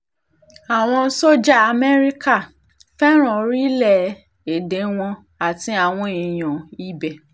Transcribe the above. àwọn só̩jà amẹ́ríkà fẹ́ràn orílẹ̀-èdè wọn àti àwọn èèyàn ibẹ̀